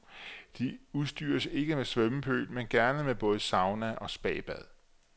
De udstyres ikke med svømmepøl, men gerne med både sauna og spabad.